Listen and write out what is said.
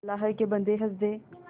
अल्लाह के बन्दे हंस दे